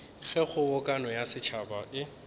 ge kgobokano ya setšhaba e